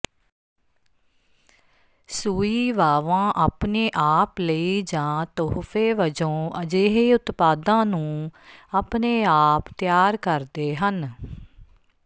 ਸੂਈਵਾਵਾਂ ਆਪਣੇ ਆਪ ਲਈ ਜਾਂ ਤੋਹਫ਼ੇ ਵਜੋਂ ਅਜਿਹੇ ਉਤਪਾਦਾਂ ਨੂੰ ਆਪਣੇ ਆਪ ਤਿਆਰ ਕਰਦੇ ਹਨ